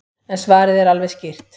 En svarið er alveg skýrt.